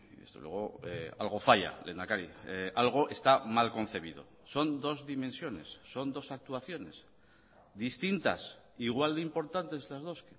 desde luego algo falla lehendakari algo está mal concebido son dos dimensiones son dos actuaciones distintas igual de importantes las dos